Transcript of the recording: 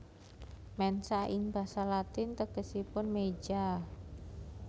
Mensa ing basa Latin tegesipun meja